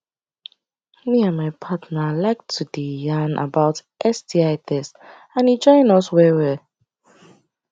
me and my partner like to the yarn about sti test and e join us well well